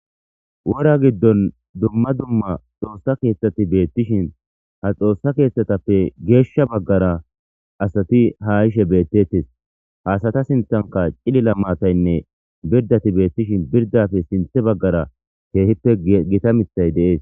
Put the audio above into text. wora giddon dumma dumma xoossa Keeththati beettishin ha xoossa keeththatappe geeshsha baggara asati ha ishe beettettes hasata sinthanka cilila maataynne birdati beettishin birdafe sinthe baggara keehippe gitamithay deees.